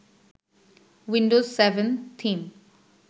Windows seven theme